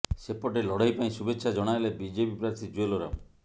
ସେପଟେ ଲଢେଇ ପାଇଁ ଶୁଭେଚ୍ଚା ଜଣାଇଲେ ବିଜେପି ପ୍ରାର୍ଥୀ ଜୁଏଲ ଓରାମ